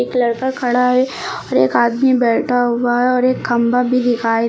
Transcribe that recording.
लड़का खड़ा है एक आदमी बैठा हुआ है और एक खंभा भी दिखाई दे--